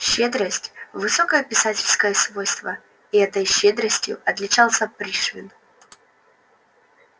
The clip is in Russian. щедрость высокое писательское свойство и этой щедростью отличался пришвин